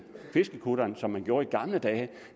fiskekutteren som man gjorde i gamle dage